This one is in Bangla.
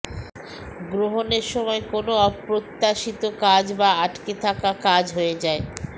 গ্রহণের সময় কোনও অপ্রত্যাশিত কাজ বা আটকে থাকা কাজ হয়ে যায়